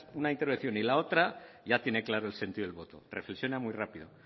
una intervención y la otra y ya tiene claro el sentido del voto reflexiona muy rápido